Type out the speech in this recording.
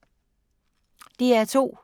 DR2